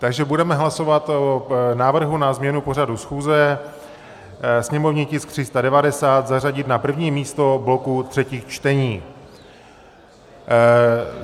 Takže budeme hlasovat o návrhu na změnu pořadu schůze, sněmovní tisk 390 zařadit na první místo bloku třetích čtení.